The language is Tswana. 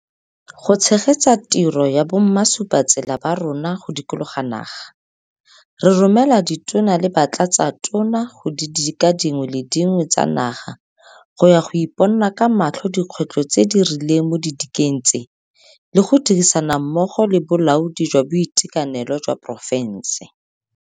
Go tshegetsa tiro ya bomasupatsela ba rona go dikologa naga, re romela Ditona le Batlatsatona go didika dingwe le dingwe tsa naga go ya go iponna ka matlho dikgwetlho tse di rileng mo didikeng tse le go dirisana mmogo le bolaodi jwa boitekanelo jwa porofense.